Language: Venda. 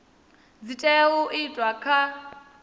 dzi tea u itwa kha